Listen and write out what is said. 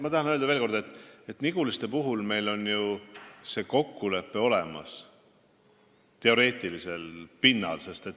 Ma tahan veel kord öelda, et Niguliste puhul on meil ju kokkulepe teoreetilisel pinnal olemas.